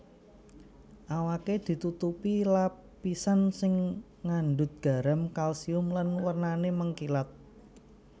Awaké ditutupi lapisan sing ngandhut garam kalsium lan wernané mengkilap